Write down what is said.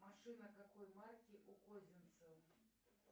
машина какой марки у козинцева